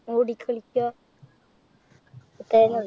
ഓടികളിക്ക. അത്രേന്നെള്ളൂ.